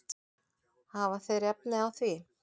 Hafa þeir efni á því?